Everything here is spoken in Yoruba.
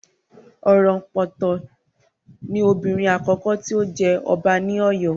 Orompoto ni obìnrin àkọ́kọ́ tí ó jẹ ọba ní Oyo